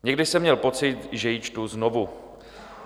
Někdy jsem měl pocit, že ji čtu znovu.